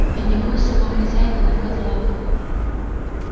и небось сама хозяйка на козлах